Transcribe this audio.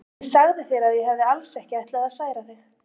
Ég sagði þér að ég hefði alls ekki ætlað að særa þig.